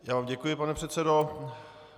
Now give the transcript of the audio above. Já vám děkuji, pane předsedo.